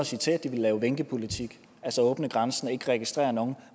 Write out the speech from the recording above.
sige til at de ville lave vinkepolitik altså åbne grænsen og ikke registrere nogen